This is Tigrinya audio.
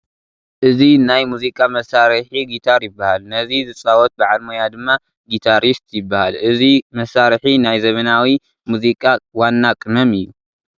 እዚ ናይ ሙዚቃ መሳርሒ ጊታር ይበሃል፡፡ ነዚ ዝፃወት በዓል ሞያ ድማ ጊታሪስት ይበሃል፡፡ እዚ መሳርሒ ናይ ዘመናዊ ሙዚቃ ዋና ቅመም እዩ፡፡